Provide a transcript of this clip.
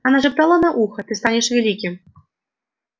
она шептала на ухо ты станешь великим